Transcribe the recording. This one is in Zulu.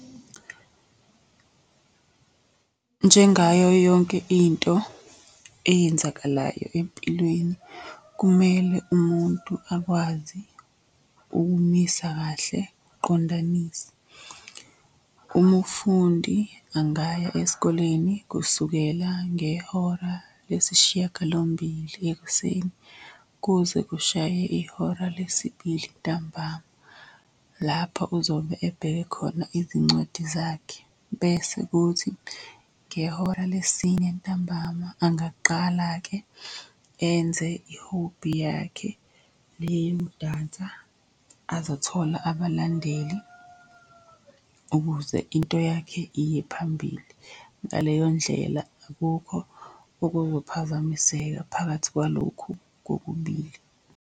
Njengayo yonke into eyenzakalayo empilweni kumele umuntu akwazi ukumisa kahle ukuqondanisa. Umufundi angaya esikoleni kusukela ngehora lesishiyagalombili ekuseni kuze kushaye ihora lesibili ntambama. Lapho uzobe ebheke khona izincwadi zakhe, bese kuthi ngehora lesine ntambama angaqala-ke enze ihobhi yakhe le yemdansa azothola abalandeli ukuze into yakhe iye phambili. Ngaleyo ndlela akukho okuzophazamiseka phakathi kwalokhu kokubili.